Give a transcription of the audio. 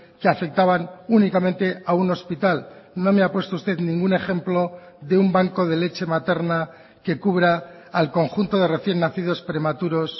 que afectaban únicamente a un hospital no me ha puesto usted ningún ejemplo de un banco de leche materna que cubra al conjunto de recién nacidos prematuros